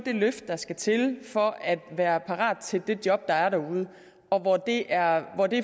det løft der skal til for at være parat til det job der er derude og hvor det er